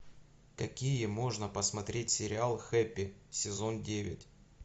какие можно посмотреть сериал хэппи сезон девять